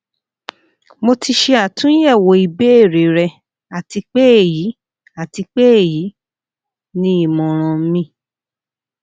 mo ti ṣe atunyẹwo ibeere rẹ ati pe eyi ati pe eyi ni imọran mi